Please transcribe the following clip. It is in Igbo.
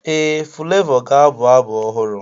Ee, Fulevoo ga-abụ abụ ọhụrụ.